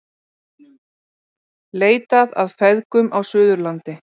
Leitað að feðgum á Suðurlandi